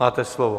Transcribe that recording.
Máte slovo.